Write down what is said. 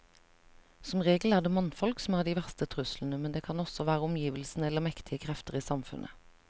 Som regel er det mannfolk som er de verste truslene, men det kan også være omgivelsene eller mektige krefter i samfunnet.